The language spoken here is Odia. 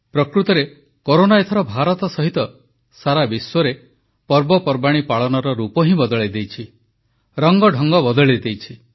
ପ୍ରକୃତରେ କରୋନା ଏଥର ଭାରତ ସହିତ ସାରା ବିଶ୍ୱରେ ପର୍ବପର୍ବାଣୀ ପାଳନର ରୂପ ହିଁ ବଦଳାଇ ଦେଇଛି ରଙ୍ଗଢଙ୍ଗ ବଦଳାଇ ଦେଇଛି